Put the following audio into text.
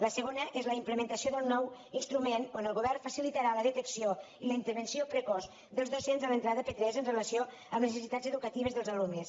la segona és la implementació d’un nou instrument amb què el govern facilitarà la detecció i la intervenció precoç dels docents a l’entrada a p3 amb relació a les necessitats educatives dels alumnes